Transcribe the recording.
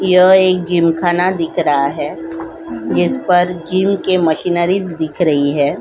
यह एक जिम खाना दिख रहा है जिस पर जिम के मशीनरी दिख रही है।